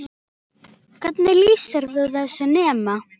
Hvernig lýsir þú þessu þema?